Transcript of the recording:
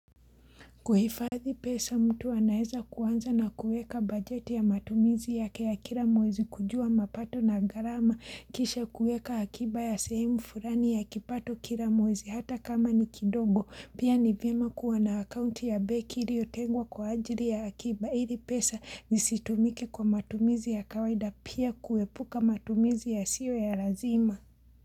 Kuhifadhi pesa mtu anaeza kuanza na kueka bajeti ya matumizi yake ya kila mwezi kujua mapato na gharama kisha kuweka akiba ya sehemu fulani ya kipato kila mwezi hata kama ni kidogo pia ni vyema kuwa na akaunti ya benki iliotengwa kwa ajili ya akiba ili pesa zisitumike kwa matumizi ya kawaida pia kuepuka matumizi yasiyo ya lazima.